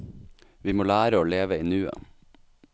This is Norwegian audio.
Vi må lære å leve i nuet.